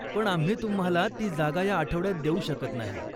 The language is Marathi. पण आम्ही तुम्हाला ती जागा ह्या आठवड्यात देऊ शकत नाही.